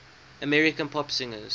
american pop singers